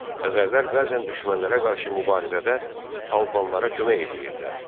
Xəzərlər bəzən düşmənlərə qarşı mübarizədə Albanlara kömək edirdilər.